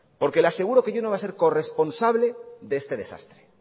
porque le aseguro que yo no voy a ser corresponsable de este desastre